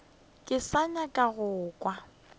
ke sa nyaka go kwa